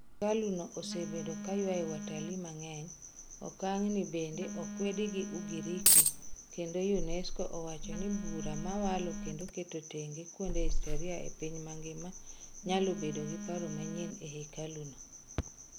Hekalu no osebedo ka ywayo watali mang'eny. Okangni bende okwedi gi Ugiriki kendo Unesco owacho ni bura wa walo kendo keto tenge kuonde historia e piny ngima nyalo bedo gi paro manyien e hekalu no.